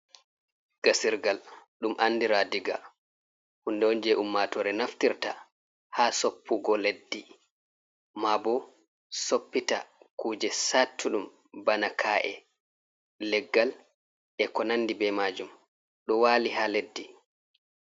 Gasirgal ɗum andira diga, hunde on je ummatore naftirta ha soppugo leddi, ma bo soppita kuje sattuɗum bana ka’e, leggal, e ko nandi be majum ɗo wali ha leddi.